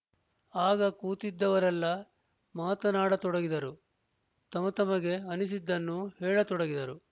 ಆಗ ಕೂತಿದ್ದವರೆಲ್ಲ ಮಾತಾಡತೊಡಗಿದರು ತಮತಮಗೆ ಅನ್ನಿಸಿದ್ದನ್ನು ಹೇಳತೊಡಗಿದರು